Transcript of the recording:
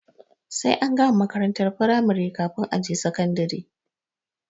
Sai an gama makarantar firamari kafin a je sakandare.